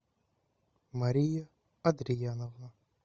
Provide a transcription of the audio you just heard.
мария адрияновна